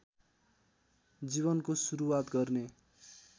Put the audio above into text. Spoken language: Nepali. जीवनको सुरुवात गर्ने